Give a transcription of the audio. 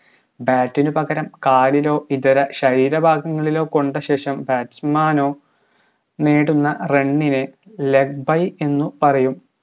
bat ന് പകരം കാലിലോ ഇതര ശരീര ഭാഗങ്ങളിലോ കൊണ്ട ശേഷം batsman നോ നേടുന്ന run നെ leg by എന്ന് പറയും